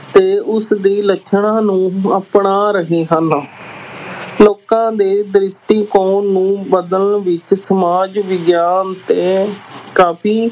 ਤੇ ਉਸਦੇ ਲੱਛਣਾਂ ਨੂੰ ਅਪਣਾ ਰਹੇ ਹਨ ਲੋਕਾਂ ਦੇ ਦ੍ਰਿਸ਼ਟੀਕੋਣ ਨੂੰ ਬਦਲਣ ਵਿੱਚ ਸਮਾਜ ਵਿਗਿਆਨ ਤੇ ਕਾਫ਼ੀ